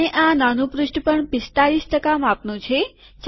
અને આ નાનું પૃષ્ઠ પણ ૪૫ ટકા માપનું છે